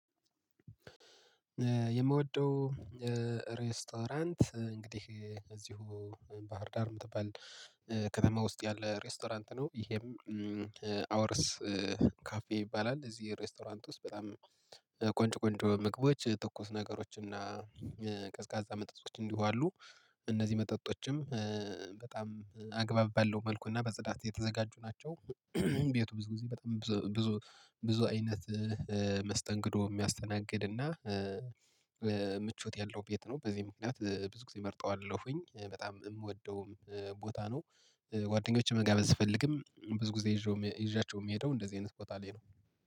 የምወደው እ ሬስቶራንት እ እንግዲህ እዚሁ ባህር ዳር የምትባል እ ከተማ ውስጥ ያለ ሬስቶራንት ነው። ይሄም እ አወርስ ካፌ ይባላል። እዚህ ሬስቶራንት ውስጥ በጣም ቆንጆ ቆንጆ ምግቦች እ ትኩስ ነገሮች እና እ ቀዝቃዛ መጠጦች እንዲሁ አሉ። እ እነዚህ መጠጦችም እ በጣም አግባብ ባለው መልኩና በጽዳት የተዘጋጁ ናቸው። ቤቱ ብዙ ብዙ ብዙ በጣም ብዙ ብዙ አይነት መስተንግዶ የሚያስተናግድ እና እ ምቾት ያለው ቤት ነው። በዚህ ምክንያት እ ብዙ ጊዜ እመርጠዋለሁኝ በጣም የምወደውም ቦታ ነው። እ ጓደኞቼን መጋበዝ ስፈልግም ብዙ ጊዜ ይዤው ይዣቸው ምሄደው እንደዚህ አይነት ቦታ ላይ ነው።